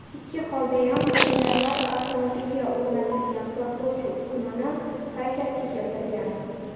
Ikki holdayam jangarilar avtomobilga o‘rnatilgan portlovchi uskunani harakatga keltirgan.